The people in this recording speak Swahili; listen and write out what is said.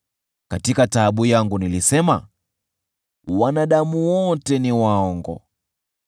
Katika taabu yangu nilisema, “Wanadamu wote ni waongo.”